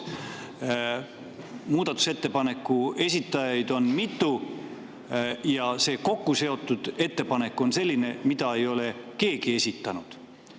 Muudatusettepaneku esitajaid on mitu ja see kokkuseotud ettepanek on selline, mida ei ole keegi esitanud.